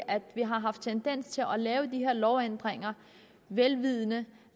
at vi har haft tendens til at lave de her lovændringer vel vidende